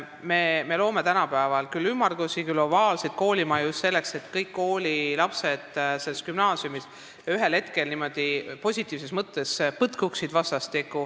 Me ehitame tänapäeval küll ümmargusi, küll ovaalseid koolimaju just selleks, et kõik lapsed selles gümnaasiumis ühel hetkel positiivses mõttes kokku saaksid.